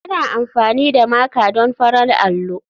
Ana amfani da Maker don farar allo.